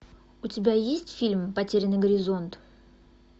у тебя есть фильм потерянный горизонт